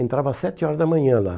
Entrava às sete horas da manhã lá.